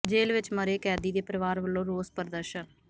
ਜੇਲ੍ਹ ਵਿੱਚ ਮਰੇ ਕੈਦੀ ਦੇ ਪਰਿਵਾਰ ਵੱਲੋਂ ਰੋਸ ਪ੍ਰਦਰਸ਼ਨ